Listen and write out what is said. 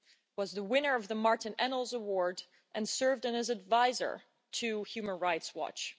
He was the winner of the Martin Ennals Award and served as an adviser to Human Rights Watch.